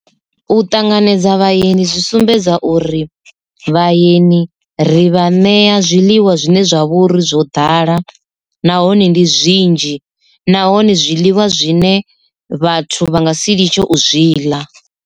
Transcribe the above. U ṱanganedza vhaeni zwi sumbedza uri vhaeni ri vha ṋea zwiḽiwa zwine zwa vhouri zwo ḓala, nahone ndi zwinzhi nahone zwiḽiwa zwine vhathu vha nga si litshe u zwi ḽa.